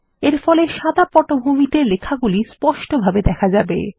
এরফলে সাদা পটভূমিতে লেখাগুলি স্পষ্টভাবে দেখা যাবে